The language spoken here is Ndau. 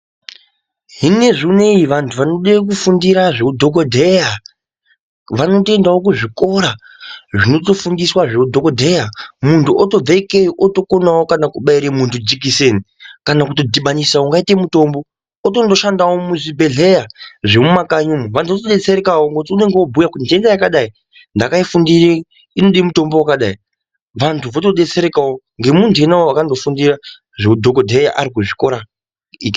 Hine zvineyi vandu vida kufundira zvewudhokodheya vanotoyendawo kuzvikora zvinotofundiswa zvehidhokodheya mundu otobve ikweyo otokonawo kana kubayirwe mundu jekiseni kana kudhibanisa yakaite mitombo otonoshandawo muzvibhedhleya zvemuma kanyi umwo vandu votobetserekawo nekuti unenge wobhuya kuti jenda yakadayi ndakayifundire inode mitombo yakadayi vandu vabetserekawo ndemundu iweyo akafundire zvehudhokodheya arikuzvikora.